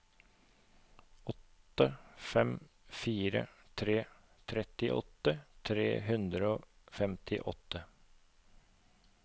åtte fem fire tre trettiåtte tre hundre og femtiåtte